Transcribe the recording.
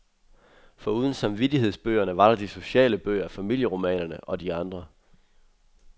Foruden samvittighedsbøgerne, var der de sociale bøger , familieromanerne og de andre.